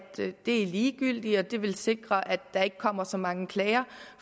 det er ligegyldigt for som det er vil det sikre at der ikke kommer så mange klager